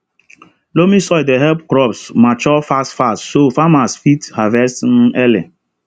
loamy soil dey help crops mature fast fast so farmers fit harvest um early